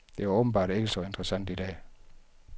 Det er åbenbart ikke så interessant i dag.